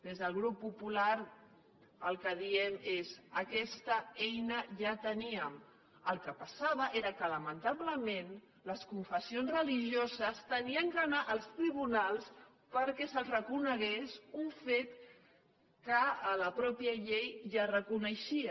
des del grup popular el que diem és aquesta eina ja la teníem el que passava era que lamentablement les confessions religioses havien d’anar als tribunals perquè se’ls reconegués un fet que a la mateixa llei ja es reconeixia